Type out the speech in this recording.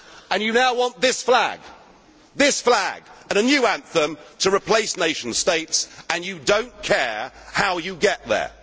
past. And you now want this flag and a new anthem to replace nation states and you do not care how you get